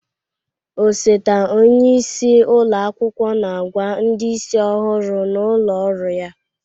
Osote onye isi ụlọ akwụkwọ na-agwa ndị isi ọhụrụ n'ụlọ ọrụ ya